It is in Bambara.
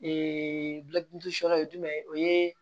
fɔlɔ ye jumɛn ye o ye